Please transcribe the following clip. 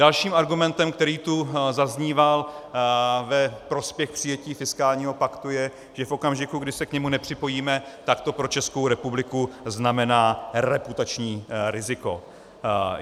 Dalším argumentem, který tu zazníval ve prospěch přijetí fiskálního paktu, je, že v okamžiku, kdy se k němu nepřipojíme, tak to pro Českou republiku znamená reputační riziko.